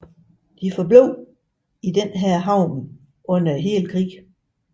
De forblev i denne havn under hele krigen